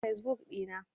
Na goge fesbuk ɗina.